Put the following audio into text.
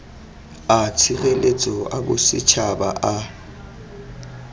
a tshireletso a bosetšhaba a